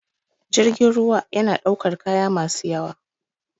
Jirgin ruwa yana ɗaukar kaya masu yawa